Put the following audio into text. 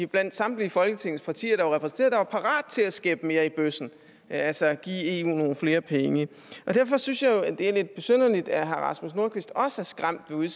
blandt samtlige folketingets partier der var repræsenteret der var parat til at skæppe mere i bøssen altså at give eu nogle flere penge og derfor synes jeg jo at det er lidt besynderligt at herre rasmus nordqvist også er skræmt ved